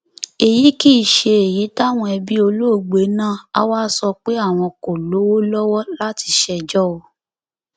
èyí kì í ṣe èyí táwọn ẹbí olóògbé náà á wáá sọ pé àwọn kò lówó lọwọ láti ṣèjọ o